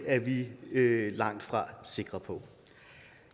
er vi langtfra sikre på